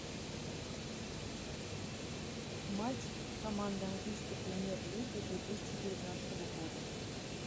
матч команды английской премьер лиги две тысячи девятнадцатого года